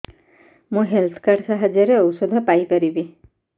ମୁଁ health card ସାହାଯ୍ୟରେ ଔଷଧ ପାଇ ପାରିବି